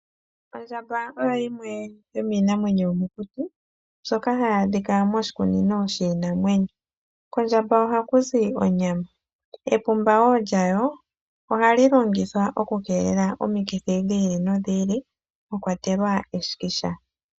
Ondjamba oyo yimwe yo miinamwenyo yomokuti mbyoka ha yi adhika moshikunino shiinamwenyo, kondjamba oha ku zi onyama, epumba wo lya yo oha li longithwa oku keelela omikithi dhi ili nodhi ili mwakwatelwa eshikisha.